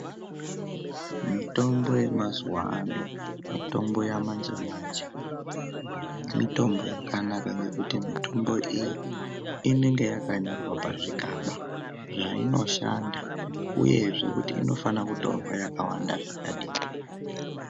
Mitombo yemazuva ano, mitombo yamanje-manje mitombo yakanaka ngekuti mitombo iyi inenge yakanyorwa pazvigaba zvainoshanda. Uyezve kuti unofane kutorwa yakawanda zvakadini.